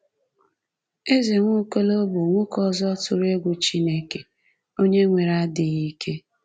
Eze Nwaokolo bụ nwoke ọzọ tụrụ egwu Chineke, onye nwere adịghị ike.